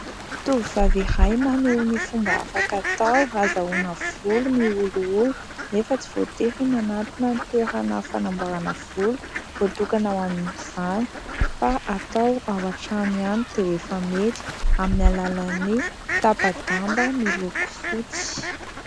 Tovovavy iray maneho ny fomba afaka atao azahoana volo miolioly nefa tsy voatery manantona ny toerana fanamborana volo voatokana ho amin'izany fa atao ao an-trano ihany dia efa mety amin'ny alalany tapa-damba miloko fotsy.